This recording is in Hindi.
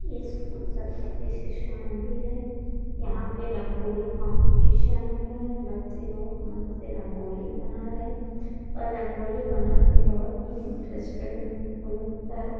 ये स्कूल सरस्वती शिशु मंदिर हैं। यहाँ पे रंगोली कॉम्पीटिशन हो रहा है। बच्चें बहुत मन से रंगोली बना रहे हैं और रंगोली बना के बहुत ही इंटरेस्टेड इनको लगता है।